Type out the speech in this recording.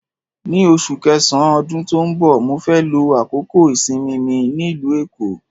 Ní oṣù kẹsàn-án ọdún tó ń bọ̀, mó fẹ́ lo àkókò ìsinmi mi nílùú Èkó.